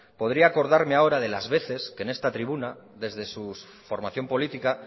podría acordarme ahora de las veces que en esta tribuna desde su formación política